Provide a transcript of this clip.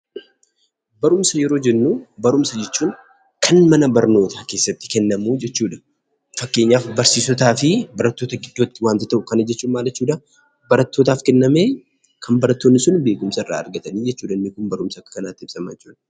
Barumsa yeroo jennuu, barumsa jechuun kan mana barnootaa keessatti kennamuu jechuudha. Fakkeenyaaf barsiisotaa fi barattoota gidduutti waanta ta'u, barattootaafis kennamee kan barattoonni sun beekumsa irraa argatanii jechuudha. Inni Kun akka kanaatti ibsamaa jechuudha.